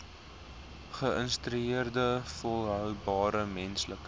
geïntegreerde volhoubare menslike